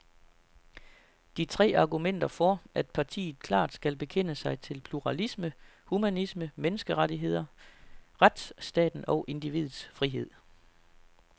De tre argumenterer for, at partiet klart skal bekende sig til pluralisme, humanisme, menneskerettigheder, retsstaten og individets frihed.